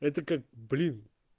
это как блин